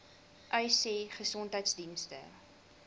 uys sê gesondheidsdienste